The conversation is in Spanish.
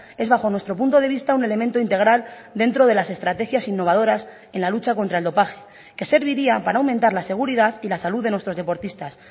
es bajo nuestro punto de vista un elemento integral dentro de las estrategias innovadoras en la lucha contra el dopaje que serviría para aumentar la seguridad y la salud de nuestros deportistas